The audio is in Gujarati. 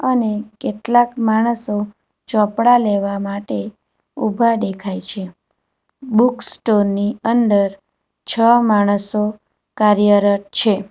અને કેટલાક માણસો ચોપડા લેવા માટે ઉભા દેખાય છે બુકસ્ટોર ની અંદર છ માણસો કાર્યરટ છે.